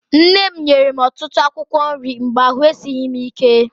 Nne m nyere m ọtụtụ akwụkwọ nri mgbe ahụ esighị m ike.